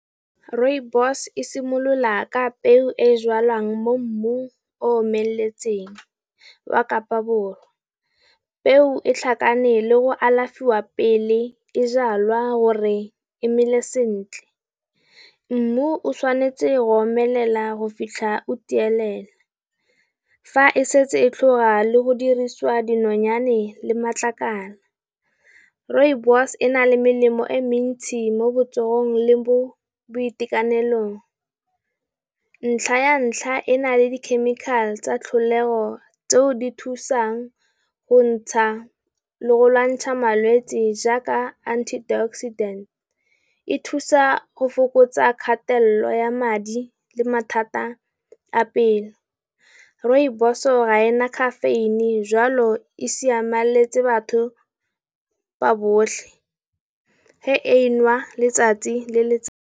Rooibos e simolola ka peo e jalwang mo mmung o omeletseng wa Kapa Borwa. Peo e tlhakane le go alafiwa pele e jalwa gore e mele sentle. Mmu o tshwanetse go omelela go fitlha o tielela. Fa e setse e tlhoka le go dirisiwa dinonyane le matlakala, Rooibos e na le melemo e mentsi mo botsogong le mo boitekanelong. Ntlha ya ntlha e na le di chemical tsa tlholego tseo di ka thusang go ntsha le go lwantsha malwetsi jaaka antioxidant, e thusa go fokotsa kgatelelo lo ya madi le mathata a pelo. Rooibos ga ena khafeine jwalo e siameletse batho ba botlhe ge e nwa letsatsi le letsatsi.